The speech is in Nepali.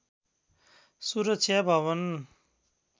सुरक्षा भवन